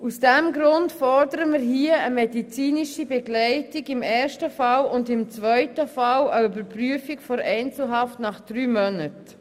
Aus diesem Grund fordern wir im ersten Fall eine medizinische Begleitung und im zweiten Fall eine Überprüfung der Einzelhaft nach drei Monaten.